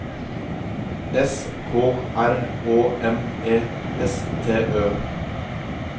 S K R Å M E S T Ø